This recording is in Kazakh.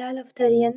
біләлов тәрен